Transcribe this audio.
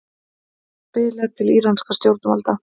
Biðlar til íranskra stjórnvalda